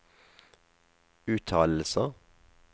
uttalelser